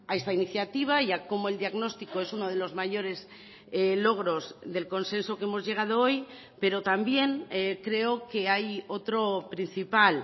esta iniciativa y a cómo el diagnóstico es uno de los mayores logros del consenso que hemos llegado hoy pero también creo que hay otro principal